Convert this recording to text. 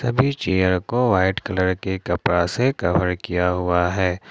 Chair को white colour के कपड़ा से कभर किया हुआ है।